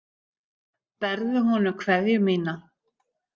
Berðu honum kveðju mína.